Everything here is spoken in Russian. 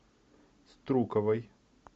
струковой